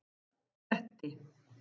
Kletti